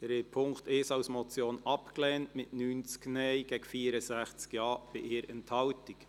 Sie haben den Punkt 1 als Motion abgelehnt, mit 90 Nein- gegen 64 Ja-Stimmen bei 1 Enthaltung.